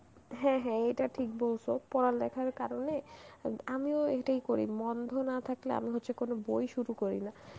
হ্যাঁ হ্যাঁ এটা ঠিক বলছো পড়ালেখার কারণে ওই আমিও এটাই করি মন্ধ না থাকলে আমি হচ্ছে কোন বই শুরু করি না